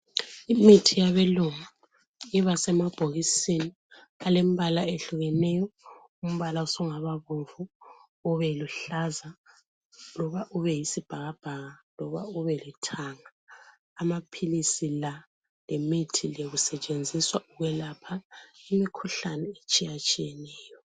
Imithi yabelungu iba semabhokisini alembala ehlukeneyo, umbala usungaba bomvu ube luhlaza loba ube yisibhakabhaka loba ube lithanga. Amaphilisi la, lemithi le kusetshenziswa ukwelapha imikhuhlane etshiyatshiyeneyo.